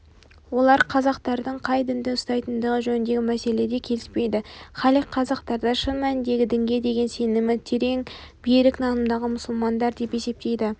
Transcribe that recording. олар қазақтардың қай дінді ұстайтындығы жөніндегі мәселеде келіспейді халид қазақтарды шын мәніндегі дінге деген сенімі терең берік нанымдағы мұсылмандар деп есептейді